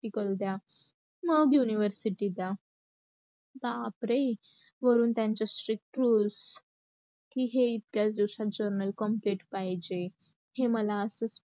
करू दया, मग university चा. बापरे! वरून त्यांच strict rules की हे इतक्यात दिवसात journal complete पाहिजे, हे मला असच